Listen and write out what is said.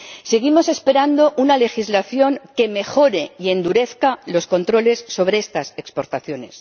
Seguimos esperando una legislación que mejore y endurezca los controles sobre estas exportaciones.